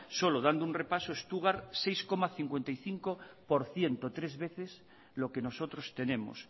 solo dando un repaso stuttgart seis coma cincuenta y cinco por ciento tres veces lo que nosotros tenemos